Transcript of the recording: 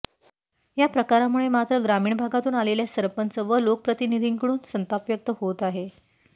या प्रकारामुळे मात्र ग्रामीण भागातून आलेल्या सरपंच व लोकप्रतिनिधींकडून संताप व्यक्त होत आहे